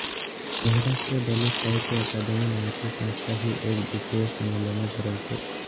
महाराष्ट्र दलित साहित्य अकादमी नावाची संस्था ही एकदिवसीय संमेलने भरवते